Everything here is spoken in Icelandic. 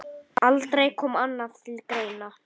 Aldrei kom annað til greina.